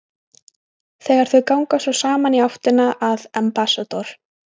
Þegar þau ganga svo saman í áttina að Ambassador